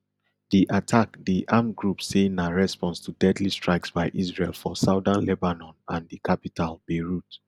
di attack di armed group say na response to deadly strikes by israel for southern lebanon and di capital beirut